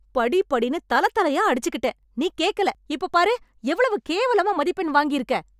படி படின்னு தல தலையா அடிச்சிகிட்டேன் . நீ கேக்கல. இப்போ பாரு, எவ்வளவு கேவலமா மதிப்பெண் வாங்கி இருக்க.